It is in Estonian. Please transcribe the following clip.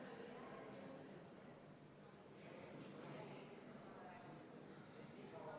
See oli suurim ja esimene muudatusettepanek, mida komisjonis hääletamisel toetas 5 komisjoni liiget, vastu oli 2 ja 2 jäid erapooletuks.